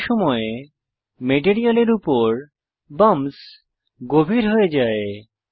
একই সময় মেটেরিয়ালের উপর বাম্পস গভীর হয়ে যায়